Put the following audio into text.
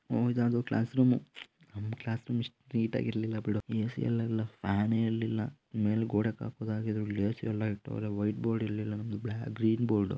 ಓಹ್ ಇದು ಯಾವುದೋ class room ನಮ್ ಕ್ಲಾಸ್ ರೂಮ್ ಇಷ್ಟು ನಿಟ್ ಹಾಗಿ ಇರಲಿಲ್ಲ ಬಿಡು. ಎ_ಸಿ ಎಲ್ಲ ಇರಲಿಲ್ಲ ಫ್ಯಾನ್ ಇರಲಿಲ್ಲ ಮೇಲೆ ಗೋಡೆ ಕಪ್ಪಗೆ ಅಗಿದು ಇಲ್ಲಿ ಎ_ಸಿ ಎಲ್ಲಾ ಇಟ್ಟು ಅವರೇ ವೈಟ್ ಬೋರ್ಡ್ ಇರಲಿಲ್ಲ ನಮ್ದು ಬ್ಲಾಕ್ ಗ್ರೀನ್ ಬೋರ್ಡ್ .